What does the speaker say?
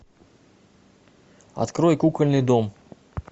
открой кукольный дом